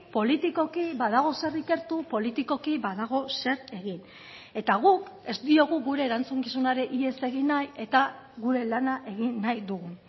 politikoki badago zer ikertu politikoki badago zer egin eta guk ez diogu gure erantzukizunari ihes egin nahi eta gure lana egin nahi dugu